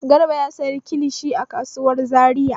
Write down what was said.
Garba ya sayi kilishi a kasuwar Zariya.